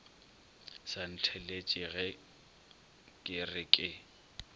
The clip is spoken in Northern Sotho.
sa ntheeletšage ke re ke